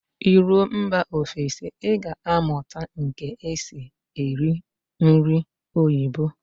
Ị ruo mba ofesi, Ị ga amụta nke esi eri nri oyibo